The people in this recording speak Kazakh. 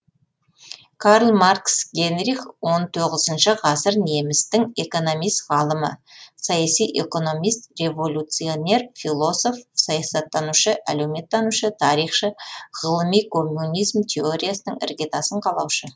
карл маркс генрих он тоғызыншы ғасыр немістің экономист ғалымы саяси экономист революционер философ саясаттанушы әлеуметтанушы тарихшы ғылыми коммунизм теориясының іргетасын қалаушы